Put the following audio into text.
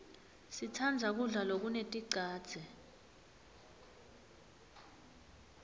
sitsandza kudla lokuneticadze